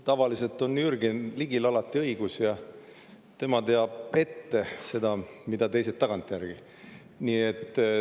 Tavaliselt on Jürgen Ligil alati õigus ja tema teab ette seda, mida teised tagantjärgi.